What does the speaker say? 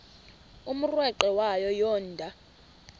umrweqe wayo yoonda